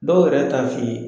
Dɔw yɛrɛ t'a f'i ye.